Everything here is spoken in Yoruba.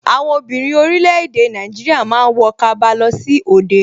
Àwọn obìnrin orílẹ̀ èdè Nàìjíríà ma ń wọ kaba lọ sí òde